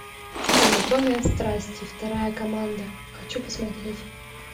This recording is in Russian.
анатомия страсти вторая команда хочу посмотреть